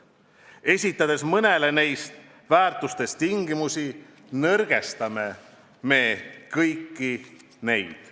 Esitades mõnele nendest väärtustest tingimusi, nõrgestame me kõiki neid.